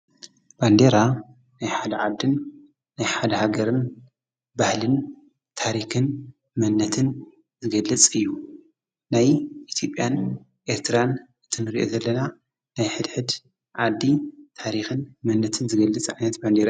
በንዴራ ናይ ሓለዓድን ናይ ሓለሃገርን ባህልን ታሪኽን መነትን ዝገልጽ እዩ ናይ ቲጴያን ኤርትራን እተንርየ ዘለላ ናይ ኅድኅድ ዓዲ ታሪኽን መነትን ዝገልጽ ዕነት ባንዴራ እዩ።